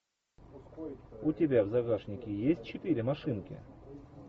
у тебя в загашнике есть четыре машинки